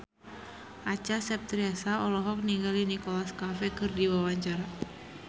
Acha Septriasa olohok ningali Nicholas Cafe keur diwawancara